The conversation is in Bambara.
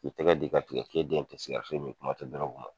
k'u tɛgɛ di i ka tigɛ kisɛden di ka sigɛrɛti mi kuma te dɔrɔgu ma